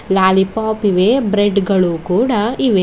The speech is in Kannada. ಲಾಲಿಪಾಪ್ ಇವೆ ಬ್ರೆಡ್ ಗಳು ಕೂಡ ಇವೆ.